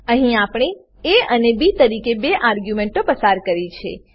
અહીં આપણે એ અને બી તરીકે બે આર્ગ્યુંમેંટો પસાર કરી છે